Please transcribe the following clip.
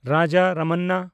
Raja Ramanna